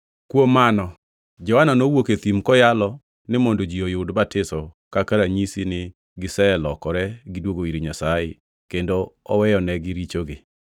Kuom mano, Johana nowuok e thim koyalo ni mondo ji oyud batiso kaka ranyisi ni giselokore gidwogo ir Nyasaye kendo oweyonegi richogi.